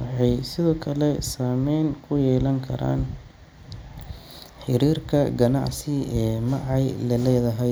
waxay sidoo kale saameyn ku yeelan karaan xiriirka ganacsi ee Macy la leedahay.